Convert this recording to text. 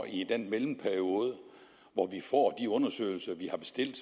i den mellemperiode hvor vi får de undersøgelser vi har bestilt